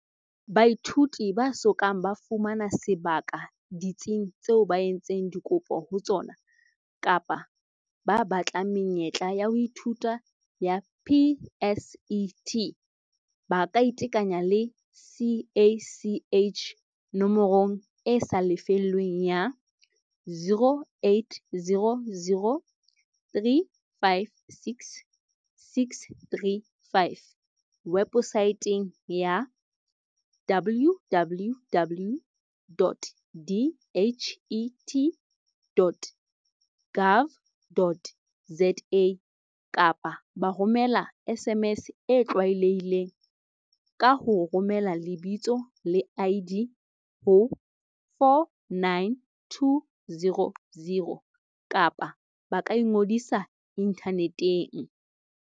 Baithuti ba so kang ba fumana sebaka ditsing tseo ba entseng dikopo ho tsona, kapa ba batlang menyetla ya ho ithuta ya PSET, ba kaiteanya le CACH nomorong e sa lefellweng ya, 0800 356 635, webosaeteng ya, www.dhet.gov.za, kapa ba romela SMS e tlwaelehileng, ka ho romela lebitsole ID ho 49200, kapa ba ka ingodisa inthaneteng.